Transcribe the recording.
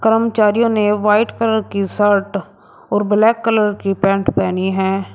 कर्मचारियों ने white colour की शर्ट और ब्लैक कलर की पैंट पहनी है।